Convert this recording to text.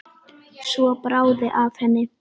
Svo bráði af henni.